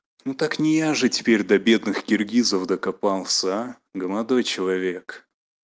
ну так не я же теперь до бедных киргизов докопался а молодой человек